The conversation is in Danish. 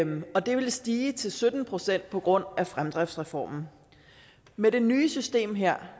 og det ville stige til sytten procent på grund af fremdriftsreformen med det nye system her